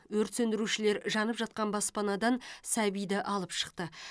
өрт сөндірушілер жанып жатқан баспанадан сәбиді алып шықты